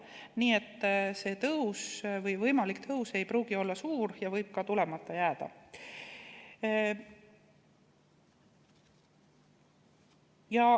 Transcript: Nii et see võimalik tõus ei pruugi olla suur ja võib ka tulemata jääda.